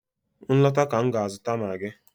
M lọta ka m ga-azụta maagi.